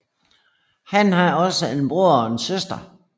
Han har også en bror og en søster